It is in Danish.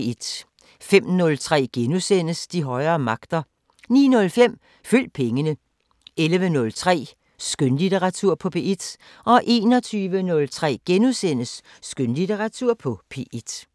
05:03: De højere magter * 09:05: Følg pengene 11:03: Skønlitteratur på P1 21:03: Skønlitteratur på P1 *